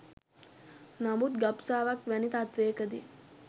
නමුත් ගබ්සාවක් වැනි තත්ත්වයක දී